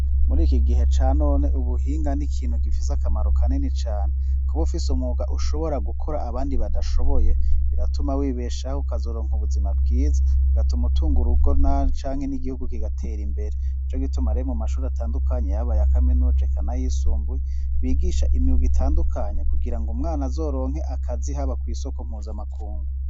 Muri iki gihe ca none, ubuhinga n'ikintu gifise akamaro kanini cane. Kuba ufise umwuga ushobora gukora abandi badashoboye biratuma wibeshaho ukazuronka ubuzima bwiza igatuma utunga urugo canke n'igihugu kigatera imbere ico gitumaraye mu mashuri atandukanye yabaye yakamenujekanayisunbuye bigisha imyuga itandukanye kugira ngo umwana azoronke akazi haba ku isoko mpuzamakungu.